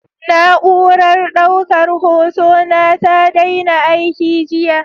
Na'urar daukar hotona ta daina aiki jiya.